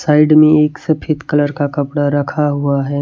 Side में एक सफेद कलर का कपड़ा रखा हुआ है।